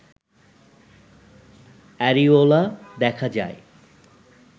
areola দেখা যায়